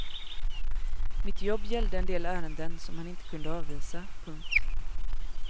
Mitt jobb gällde en del ärenden som han inte kunde avvisa. punkt